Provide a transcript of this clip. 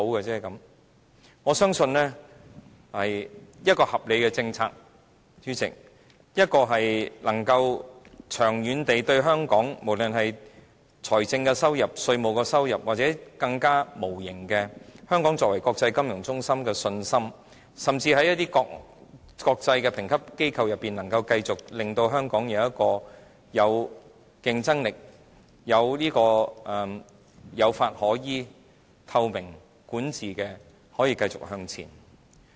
主席，我相信一項合理的政策，應是長遠對香港有益，不論是財政收入、稅務收入，或有更無形的益處，例如香港作為國際金融中心的信心，甚至在一些國際的評級機構中，能夠令香港繼續保持競爭力，使香港可以有法可依，維持透明管治，並繼續向前。